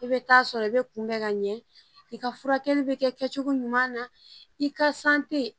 I bɛ taa sɔrɔ i bɛ kunbɛ ka ɲɛ i ka furakɛli bɛ kɛ kɛcogo ɲuman na i ka